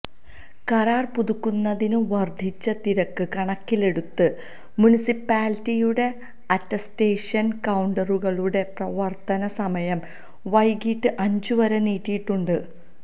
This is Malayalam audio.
കരാര് പുതുക്കുന്നതിന് വര്ധിച്ച തിരക്ക് കണക്കിലെടുത്ത് മുനിസിപ്പാലിറ്റിയുടെ അറ്റസ്റ്റേഷന് കൌണ്ടറുകളുടെ പ്രവര്ത്തന സമയം വൈകീട്ട് അഞ്ചുവരെ നീട്ടിയിട്ടുണ്ട്